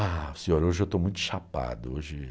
Ah, senhor, hoje eu estou muito chapado, hoje